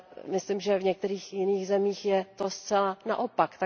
Myslím, že v některých jiných zemích je to zcela naopak.